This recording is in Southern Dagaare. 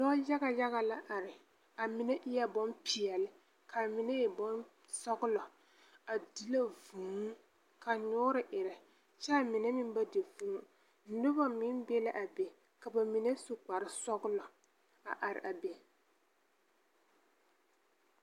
Lɔ-yaga yaga la are. A mine eɛ bompeɛle, ka a mine e bonsɔglɔ. A di la vũũ, ka nyoore erɛ, kyɛ a mine meŋ ba di vũũ. Nobɔ meŋ be la a be, ka ba mine su kparesɔglɔ a are a be.